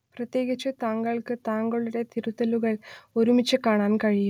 പ്രത്യേകിച്ച് താങ്കൾക്ക് താങ്കളുടെ തിരുത്തലുകൾ ഒരുമിച്ച് കാണാൻ കഴിയും